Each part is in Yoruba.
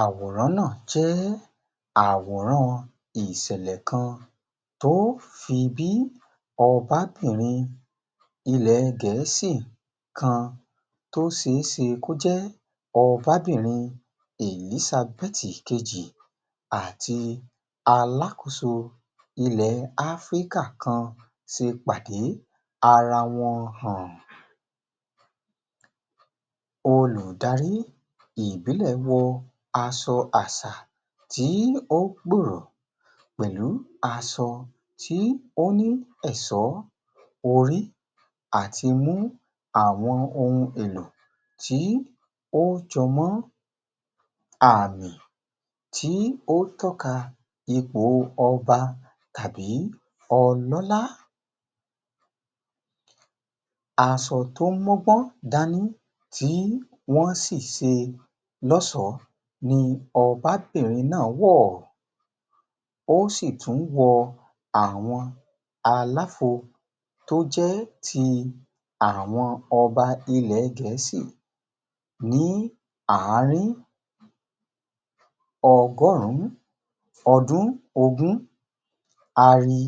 Àwòrán náà jẹ́ àwòrán ìṣẹ̀lẹ̀ kan tó fi bí ọbabìnrin ilẹ̀ Gẹ̀ẹ́sì kan tó ṣe é ṣe kó jẹ́ ọbabìnrin Èlísabẹ́tì kejì àti bí alákòóso ilẹ̀ Áfríkà kan ṣe pàdé ara wọn hàn. Olùdarí ìbílẹ̀ wọ aṣọ àṣà tí ó gbùrọ̀ pẹ̀lú aṣọ tí ó ní ẹ̀ṣọ́, orí àti mú àwọn ohun èlò tí ó jọ mọ́ àmì tí ó ń tọ́ka ipọ̀ ọba tàbí ọlọ́lá. Aṣọ tó mọ́gbọ́n dání tí wọ́n sì ṣe lọ́ṣọ̀ọ́ ni ọbabìnrin náà wọ̀. Ó sì tún wọ àwọn àlàfo tó jẹ́ ti àwọn ọba ilẹ̀ Gẹ̀ẹ́sì ní àárín. Ọgọ́rùn-ún ogún ọdún, a rí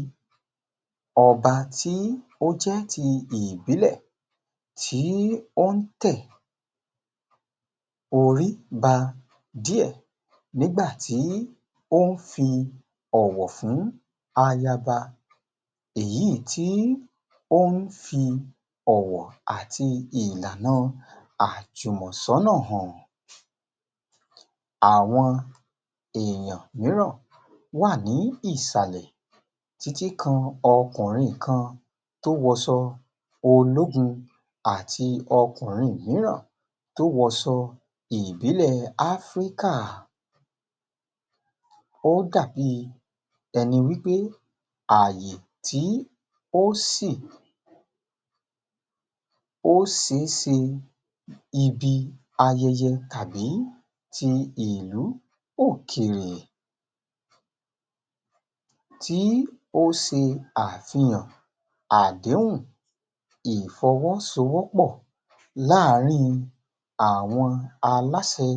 ọba tí ó jẹ́ ti ìbílẹ̀ tí ó tẹ orí ba díẹ̀, nígbà tí ó ń fi ọ̀wọ̀ fún ayaba, èyí tí ó ń fi ọ̀wọ̀ àti ìlànà àjùmọ̀sọ́nà hàn. Àwọn èèyàn mìíràn wà ní ìsàlẹ̀ títí kan ọkùnrin kan tó wọṣọ ológun àti ọkùnrin mìíràn tó wọṣọ ìbílẹ̀ Áfríkà. Ó dàbí ẹni wípé àyè tí ò sìn, ó ṣe é ṣe ibi ayẹyẹ tàbí ti ilú àbí òkèèrè, tí ó ṣe àfihàn àdéhùn ìfọwọ́sọwọ́pọ̀ láàrin àwọn aláṣẹ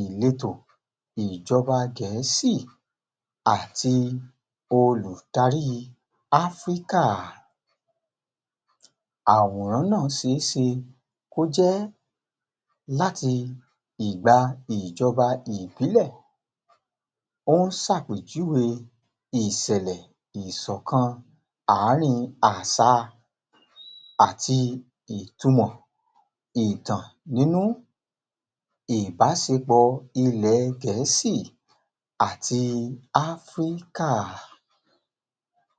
ìletò ìjọba Gẹ̀ẹ́sì àti olùdarí Áfríkà, àwòrán náà ṣe é ṣe kó jẹ́ láti ìgbà ìjọba ìbílẹ̀. Ó ń ṣàpèjúwe ìṣẹ̀lẹ̀ ìṣọ̀kan àárín àṣà àti ìtumọ̀ ìtàn nínú ìbáṣepọ̀ ilẹ̀ Gẹ̀ẹ́sì àti Áfríkà